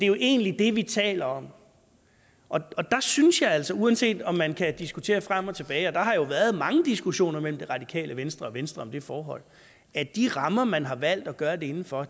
jo egentlig det vi taler om og der synes jeg altså uanset om man kan diskutere frem og tilbage og der har jo været mange diskussioner mellem det radikale venstre og venstre om det forhold at de rammer man har valgt at gøre det inden for